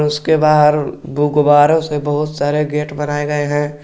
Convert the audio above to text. उसके बाहर गुब्बारों से बहुत सारे गेट बनाए गए हैं।